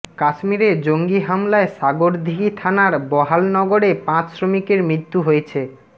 কাশ্মীরে জঙ্গি হামলায় সাগরদীঘি থানার বাহালনগরে পাঁচ শ্রমিকের মৃত্যু হয়েছে